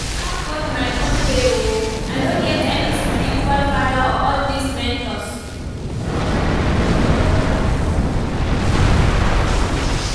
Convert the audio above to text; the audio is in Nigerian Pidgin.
I dey serve God my own way oo, I no get any spiritual father or all dis mentors